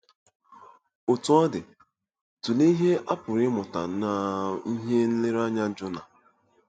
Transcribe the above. Otú ọ dị, tụlee ihe a pụrụ ịmụta n'ihe nlereanya Jona.